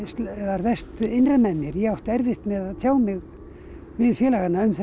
verst innra með mér ég átti erfitt með að tjá mig við félagana um þessi